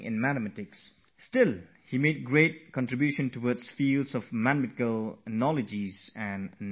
Yet he made a significant contribution to various topics like mathematical analysis, number theory, etc